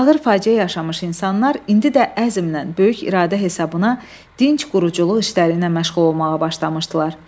Ağır faciə yaşamış insanlar indi də əzmlə, böyük iradə hesabına dinc quruculuq işlərinə məşğul olmağa başlamışdılar.